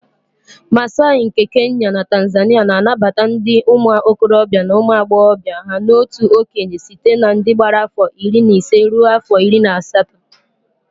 Massai nke Kenya na Tanzania na-anabata ndị ụmụ okorobịa na ụmụ agbọghọbịa ha n'otu okenye site na ndị gbara afọ iri na ise rue afọ iri na asatọ